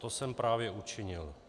To jsem právě učinil.